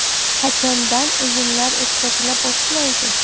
Qachondan o‘yinlar o‘tkazila boshlaydi?